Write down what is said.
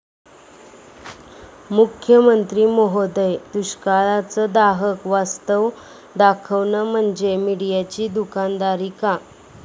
मुख्यमंत्री महोदय, दुष्काळाचं दाहक वास्तव दाखवणं म्हणजे मीडियाची दुकानदारी का?